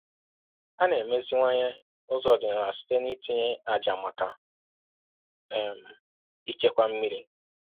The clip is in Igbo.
“A na-emeziwanye ụzọ ọdịnala site n’itinye ájá maka um ichekwa mmiri.”